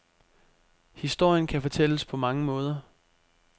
Historien kan fortælles på mange måder.